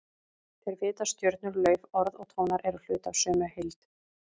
Þeir vita að stjörnur, lauf, orð og tónar eru hluti af sömu heild.